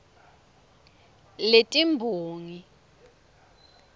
letimbongi